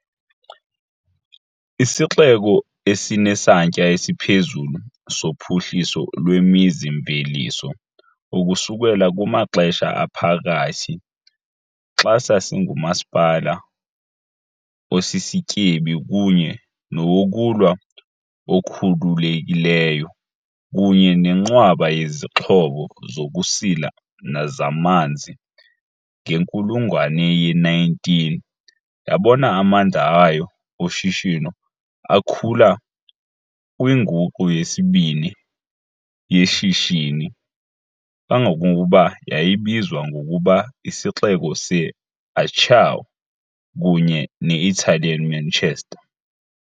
IsiXeko esinesantya esiphezulu sophuhliso lwemizi-mveliso ukusukela kumaXesha Aphakathi, xa sasingumasipala osisityebi kunye nowokulwa okhululekileyo kunye nenqwaba yezixhobo zokusila zamanzi, ngenkulungwane ye-19 yabona amandla ayo oshishino akhula kwinguqu yesibini yeshishini, kangangokuba yayibizwa ngokuba "IsiXeko se-'Acciaio" kunye ne-'Italian Manchester '.